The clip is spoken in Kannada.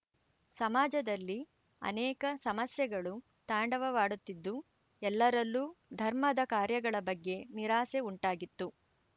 ಸಮಾಜದಲ್ಲಿ ಅನೇಕ ಸಮಸ್ಯೆಗಳು ತಾಂಡವಾಡುತ್ತಿದ್ದು ಎಲ್ಲರಲ್ಲೂ ಧರ್ಮದ ಕಾರ್ಯಗಳ ಬಗ್ಗೆ ನಿರಾಸೆ ಉಂಟಾಗಿತ್ತು